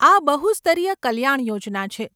આ બહુસ્તરીય કલ્યાણ યોજના છે.